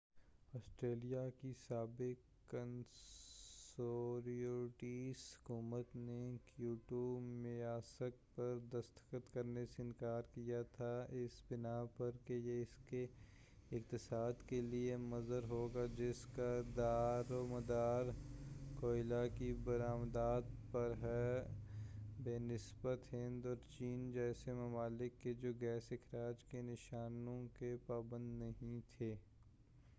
Australia کی سابق conservatives حکومت نے کیوٹو میثاق پر دستخط کرنے سے انکار کیا تھا اس بنا پر کہ یہ اس کے اقتصاد کے لئے مضر ہوگا جس کا دار و مدار کوئلہ کی بر آمدات پر ہے بہ نسبت ہند اور چین جیسے ممالک کے جو گیس اخراج کے نشانوں کے پابند نہیں تھے